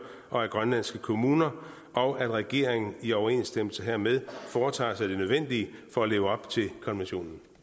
og af grønlandske kommuner og at regeringen i overensstemmelse hermed foretager sig det nødvendige for at leve op til konventionen